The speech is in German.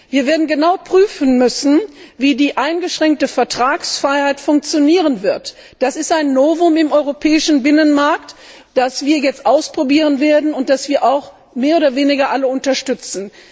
Wir werden genau prüfen müssen, wie die eingeschränkte Vertragsfreiheit funktionieren wird. Das ist ein Novum im Europäischen Binnenmarkt, das wir jetzt ausprobieren werden und das wir auch alle mehr oder weniger unterstützen.